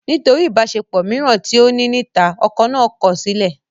Nítorí ìbáṣepọ̀ mìíràn tí ó ní níta, ọkọ náà kọ̀ sílẹ̀